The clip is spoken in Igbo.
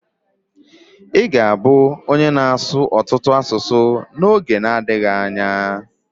Ị ga-abụ onye na-ssụ ọtụtụ asụsụ n'oge nadghi anya.